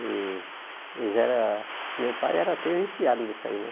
E eles eram, meu pai era até viciado nisso aí, né.